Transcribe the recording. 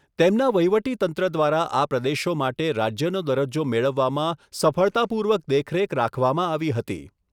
તેમના વહીવટીતંત્ર દ્વારા આ પ્રદેશો માટે રાજ્યનો દરજ્જો મેળવવામાં સફળતાપૂર્વક દેખરેખ રાખવામાં આવી હતી.